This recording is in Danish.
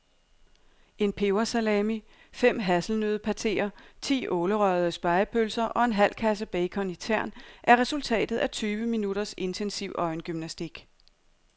En pebersalami, fem hasselnøddepateer, ti ålerøgede spegepølser og en halv kasse bacon i tern er resultatet af tyve minutters intensiv øjengymnastik.